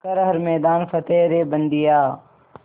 कर हर मैदान फ़तेह रे बंदेया